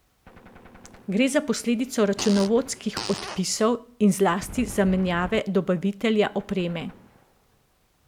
Gre za posledico računovodskih odpisov in zlasti zamenjave dobavitelja opreme.